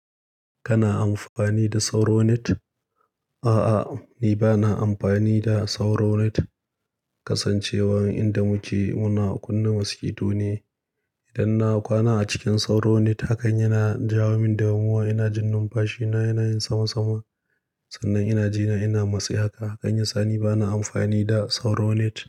Kana amfani da sauro net? A'a, ni ba na amfani da sauro net. Kasancewar inda muke muna kunnea maskito ne. Idan na kwana a cikin sauronet, hakan yana jawo min damuwa. Ina jin numfashi na yana yin sama sama. Sannan ina jina ina matsi. Haka, nan ya sa ni ba na amfani da sauro net.